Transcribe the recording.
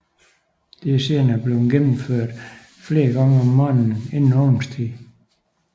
Dette er senere blevet gennemført flere gange om morgenen inden åbningstid